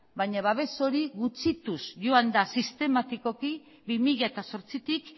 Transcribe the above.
baina babes hori gutxituz joan da sistematikoki bi mila zortzitik